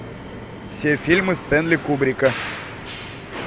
все фильмы стэнли кубрика